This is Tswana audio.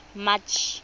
march